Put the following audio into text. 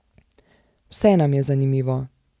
Vse nam je zanimivo.